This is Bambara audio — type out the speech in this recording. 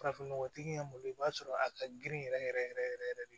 Farafinnɔgɔtigi y'an bolo i b'a sɔrɔ a ka girin yɛrɛ yɛrɛ yɛrɛ yɛrɛ yɛrɛ de